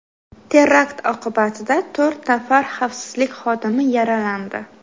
Terakt oqibatida to‘rt nafar xavfsizlik xodimi yaralandi.